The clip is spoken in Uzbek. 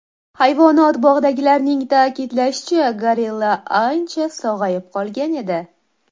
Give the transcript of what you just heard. Hayvonot bog‘idagilarning ta’kidlashicha, gorilla ancha sog‘ayib qolgan edi.